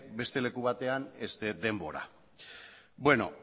beste leku batean da denbora bueno